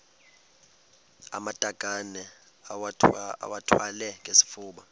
amatakane iwathwale ngesifuba